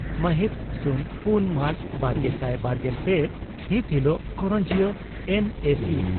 ᱢᱟᱦᱤᱛ ᱥᱩᱱ ᱯᱩᱱ ᱢᱟᱨᱪ ᱵᱟᱨᱜᱮᱥᱟᱭ ᱵᱟᱨᱜᱮᱞ ᱯᱮ ᱦᱤᱛ ᱦᱤᱞᱚᱜ ᱠᱚᱨᱚᱱᱡᱤᱭᱟᱹ ᱮᱱᱹᱮᱹᱥᱤᱹ